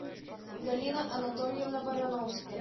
галина анатольевна барановская